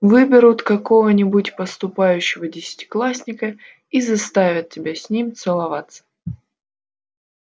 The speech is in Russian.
выберут какого нибудь поступающего десятиклассника и заставят тебя с ним целоваться